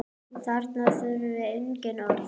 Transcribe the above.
Þarna þurfti engin orð.